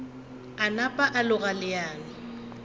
a napa a loga leano